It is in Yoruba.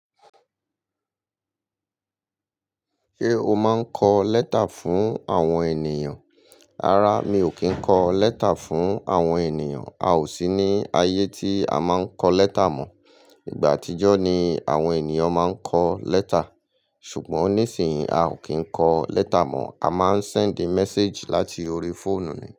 Ṣé o máa ń kọ lẹ́tà fún àwọn ènìyàn? Rara, mi ò kí ń kọ lẹ́tà fún àwọn ènìyàn. A ò sí ní ayé tí a máa ń kọ lẹ́tà mọ. Igba àtijọ́ ni àwọn ènìyàn máa ń kọ lẹ́tà. Ṣùgbọ́n nísìnyìí, a ò kí ń kọ lẹ́tà mọ, a máa ń send message láti orí fóònù ni.